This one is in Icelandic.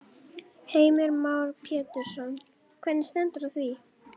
Heimir Már Pétursson: Hvernig stendur á því?